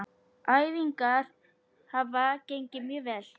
Æfingar hafa gengið mjög vel.